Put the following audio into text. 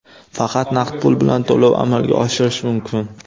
Faqat naqd pul bilan to‘lov amalga oshirish mumkin.